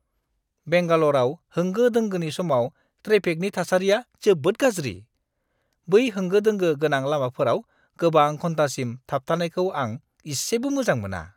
बेंगाल'रआव होंगो-दोंगोनि समाव ट्रेफिकनि थासारिया जोबोद गाज्रि। बै होंगो-दोंगो गोनां लामाफोराव गोबां घन्टासिम थाबथानायखौ आं इसेबो मोजां मोना!